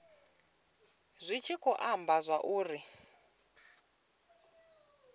zwi tshi khou amba zwauri